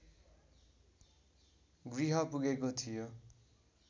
गृह पुगेको थियो